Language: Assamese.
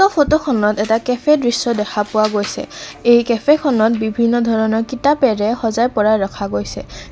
ফটোখনত এটা কেফে দৃশ্য দেখা পোৱা গৈছে এই কেফে খনত বিভিন্ন ধৰণৰ কিতাপেৰে সজাই পৰাই ৰখা গৈছে।